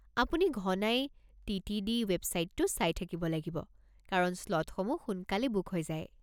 আপুনি ঘনাই টি.টি.ডি. ৱেবছাইটটো চাই থাকিব লাগিব কাৰণ স্লটসমূহ সোনকালে বুক হৈ যায়।